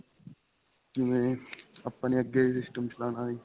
ਜਿਵੇਂ ਆਪਾਂ ਨੇ ਅੱਗੇ system ਚਲਾਨਾ ਜੀ .